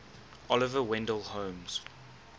oliver wendell holmes